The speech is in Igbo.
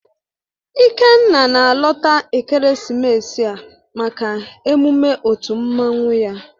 Ikenna na-alọta ekeresimesi a maka emume otu mmanwụ ya